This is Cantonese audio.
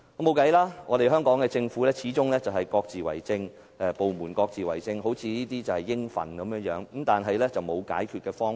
畢竟，香港的政府部門都是各自為政的，還好像很理所當然，只是至今仍然沒有解決方法。